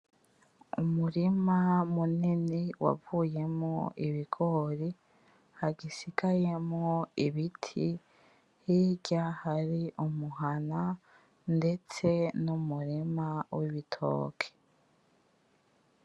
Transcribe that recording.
Umurima munini wavuyemwo ibigori hagisigayemwo ibiti, hirya hari umuhana ndetse n'umurima w'ibitoki.